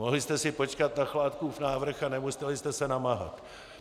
Mohli jste si počkat na Chládkův návrh a nemuseli jste se namáhat.